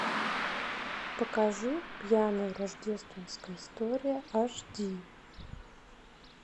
покажи пьяная рождественская история аш ди